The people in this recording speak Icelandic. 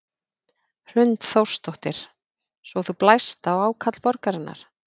Hrund Þórsdóttir: Svo þú blæst á ákall borgarinnar?